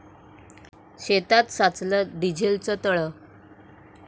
शेतात साचलं डिझेलचं तळं